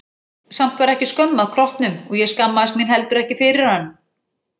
Samt var ekki skömm að kroppnum og ég skammaðist mín heldur ekki fyrir hann.